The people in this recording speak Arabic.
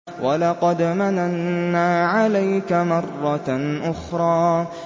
وَلَقَدْ مَنَنَّا عَلَيْكَ مَرَّةً أُخْرَىٰ